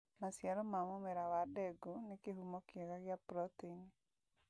Maciaro ma mũmera wa ndengũ nĩ kĩhumo kĩega gĩa proteini